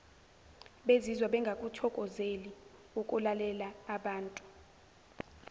bezizwa bengakuthokozeli ukulalelaabantu